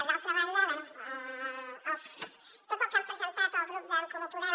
d’altra banda bé tot el que han presentat el grup d’en comú podem